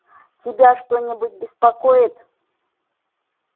тебя что-нибудь беспокоит